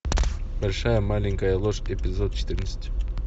большая маленькая ложь эпизод четырнадцать